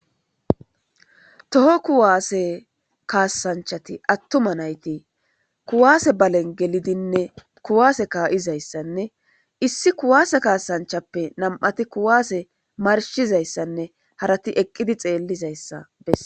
toho kuwaase kaasanchati attuma nayti kuwaase balen gelidinne kuwaase kaayizayssanne issi kuwaase kaasanchappe nam"ati kuwaase marshizayssanne harati eqqidi xeellizayssa bessa.